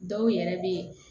Dɔw yɛrɛ be yen